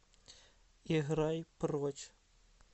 играй прочь